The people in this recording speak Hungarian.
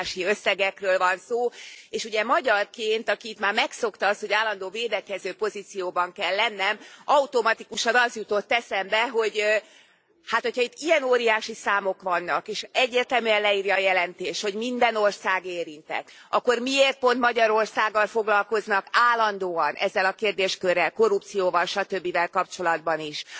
Óriási összegekről van szó, és ugye magyarként, aki itt már megszokta azt, hogy állandó védekező pozícióban kell lennie, automatikusan az jutott eszembe, hogy ha itt ilyen óriási számok vannak, és egyértelműen leírja a jelentés, hogy minden ország érintett, akkor miért pont Magyarországgal foglalkoznak állandóan ezzel a kérdéskörrel, korrupcióval, satöbbivel kapcsolatban is.